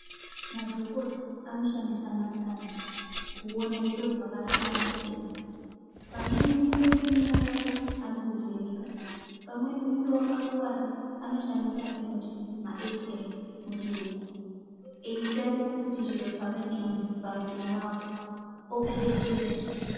Madhokota anoshandisa masikani kuona zviro zvakasiyana-siyana, pamweni unenge une mimba yako anokuvheneka, pamweni unenge wakakuwara anoshandisa atinoti Maekisi reyi muchiyungu eitarisa kuti zviro zvakadini pamwiri wako okubetsera.